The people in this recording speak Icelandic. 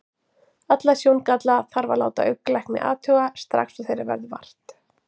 Alla sjóngalla þarf að láta augnlækni athuga, strax og þeirra verður vart.